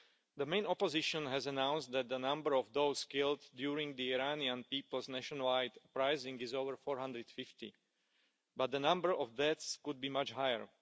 The main opposition has announced that the number of those killed during the Iranian people's nationwide uprising is over 450, but the number of deaths could be much higher.